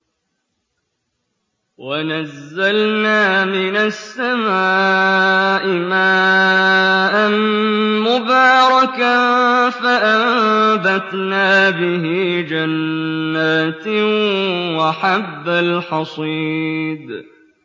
وَنَزَّلْنَا مِنَ السَّمَاءِ مَاءً مُّبَارَكًا فَأَنبَتْنَا بِهِ جَنَّاتٍ وَحَبَّ الْحَصِيدِ